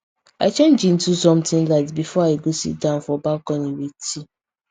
i change into something light before i go sit down for balcony with tea